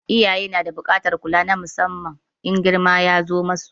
Iyaye na da buƙatar kula musamman in girma ya zo ma su.